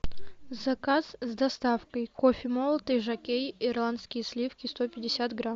заказ с доставкой кофе молотый жокей ирландские сливки сто пятьдесят грамм